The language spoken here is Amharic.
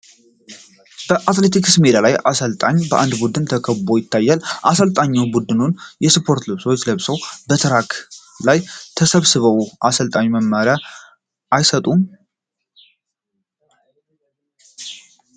በአትሌቲክስ ሜዳ ላይ አሰልጣኝ በአንድ ቡድን ተከቦ ይታያል፤ አሰልጣኙ ቡድኑን ስፖርታዊ ልብሶችን ለብሰው በትራክ ላይ ተሰብስበው አሰልጣኙ መመሪያ አይሰጡም ?